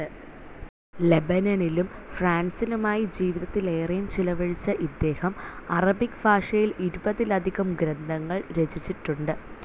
ലെബനനിലും, ഫ്രാൻസിലുമായി ജീവിതത്തിലേറേയും ചിലവഴിച്ച ഇദ്ദേഹം അറബിക് ഭാഷയിൽ ഇരുപതിലധികം ഗ്രന്ഥങ്ങൾ രചിച്ചിട്ടുണ്ട്.